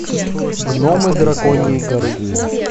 гномы драконьей горы